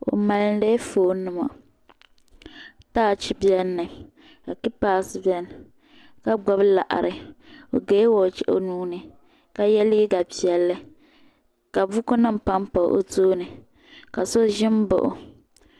O mali dila foon nima taach bɛni mi ka keepas bɛni ka gbubi laɣiri o gaya wochi o nuu ni ka yiɛ liiga piɛlli ka buku nim pam pa o tooni ka so zimbaɣi o.